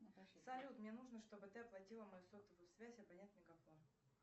салют мне нужно чтобы ты оплатила мою сотовую связь абонент мегафон